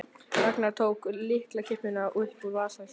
Ragnar tók lyklakippu upp úr vasa sínum.